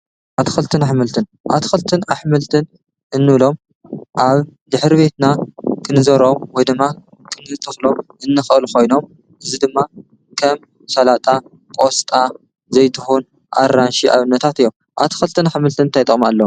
ኣቲ ክልትን ኣኅምልትን ኣቲ ክልትን ኣኅምልትን እንሎም ኣብ ድኅሪቤትና ክንዞሮም ወድማ ክንልተፍሎም እንኽእል ኾይኖም እዝ ድማ ከም ሣላጣ ቆስጣ ዘይትሆን ኣራንሺ ኣብ ነታት እዮም ኣቲ ክልትን ኣኅምልትን እኣይጠም ኣሎ።